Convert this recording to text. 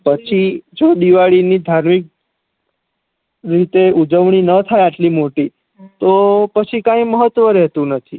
પછી જો દિવાળી ની ધાર્મિક રીતે ઉજવણી ના થાય આટલી મોટી તો પછી કઈ મહત્વ રેહતુ નથી